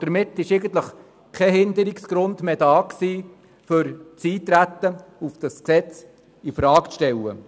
Damit gab es eigentlich keinen Grund mehr, das Eintreten auf dieses Gesetz infrage zu stellen.